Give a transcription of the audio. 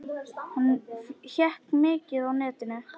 Hann hékk mikið á netinu.